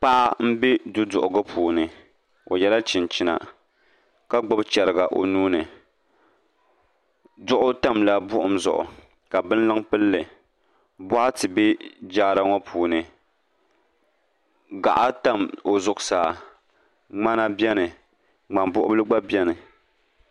paɣa m-be duduhigu puuni o yɛla chinchina ka gbubi chɛriga o nuu ni duɣu tamla buɣum zuɣu ka binliŋa pili li bɔɣati be jaara ŋɔ puuni gaɣa tam o zuɣusaa ŋmana beni ŋmambuɣibila gba beni